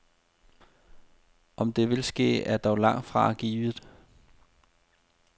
Om det vil ske, er dog langt fra givet.